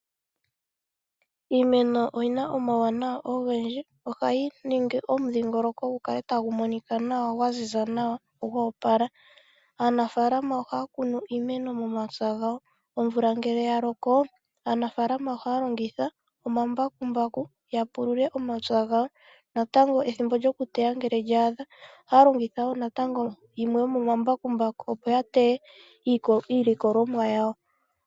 Iimeno oyi na omawuwanawa ogendji, ohayi ningi omudhingoloko gu kale tagu Monika nawa, gwa ziza nawa, gwa opala. Aanafaalama ohaya kunu iimeno momapya gawo. Omvula ngele ya loko, aanafaalama ohaya longitha omambakumbaku ya pulule omapya gawo. Natango ethimbo lyoku teya ngele lya adha, ohaya longitha wo yimwe yomomambakumbaku opo ya teye iilikolomwa yawo.